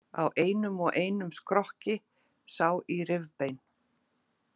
Á einum og einum skrokki sá í rifbein.